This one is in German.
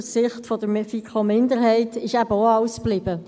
Aus Sicht der FiKo-Minderheit ist eben auch alles geblieben.